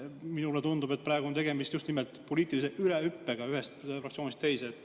" Minule tundub, et praegu on tegemist just nimelt poliitilise ülehüppamisega ühest fraktsioonist teise.